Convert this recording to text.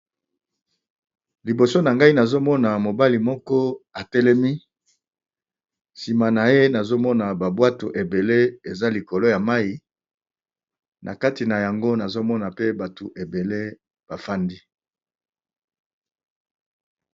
Liboso na ngai nazomona mobali moko atelemi. Sima na ye nazomona babwato ebele eza likolo ya mai na kati na yango nazomona pe bato ebele bafandi.